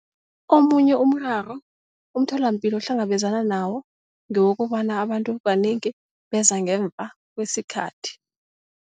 Omunye umraro umtholapilo ohlangabezana nawo ngewokobana abantu kanengi beza ngemva kwesikhathi.